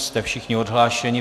Jste všichni odhlášeni?